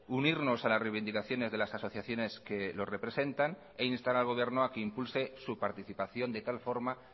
unirnos a las reivindicaciones de las asociaciones que lo representan e instar al gobierno a que impulse su participación de tal forma